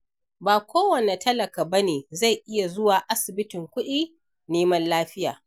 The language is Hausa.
Ba kowane talaka ba ne zai iya zuwa asibitin kuɗi neman lafiya.